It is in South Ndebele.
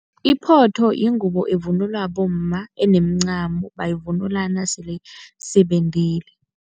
Iphotho yingubo evunulwa bomma, enemncamo. Bayivunula nasele sebendile.